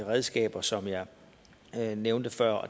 redskaber som jeg nævnte før